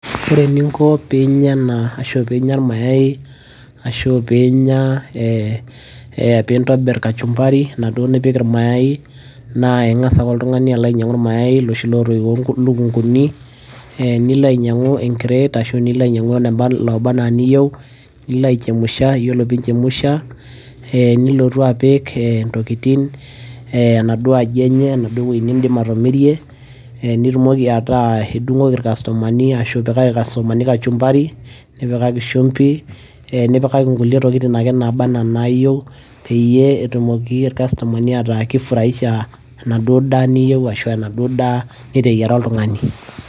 ore eninko pinya ena ashu pinya irmayai ashu piinya eh, pintobirr kachumbari enaduo nipik irmayai naa ing'as ake oltung'ani alo ainyiang'u irmayai loshi lotoiwuo ilukunguni eh, nilo ainyiang'u enkret ashu nilo ainyiang'u loba anaa niyieu nilo aichemusha yiolo pinchemusha eh, nilotu apik eh, ntokitin enaduo aji enye enaduo wueji nindim atomirie eh, nitumoki ataa idung'oki irkastomani ashu ipikaki irkastomani kachumbari nipikaki shumbi nipikaki nkulie tokitin ake naba ena nayieu peyie etumoki irkastomani ataakifurahisha enaduo daa niyieu ashu enaduo daa niteyiara oltung'ani.